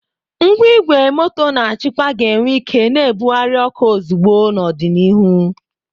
Ngwa igwe moto na-achịkwa ga-enwe ike na-ebugharị oku ozugbo n'ọdịnihu.